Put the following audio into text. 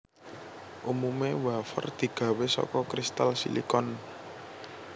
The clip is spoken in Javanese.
Umumé wafer digawé saka kristal silikon